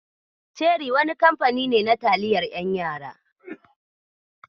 Ceri wani kamfani ne na taliyar 'yan yara.